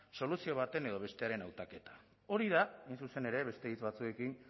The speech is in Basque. soluzio baten edo bestearen hautaketa hori da hain zuzen ere beste hitz batzuekin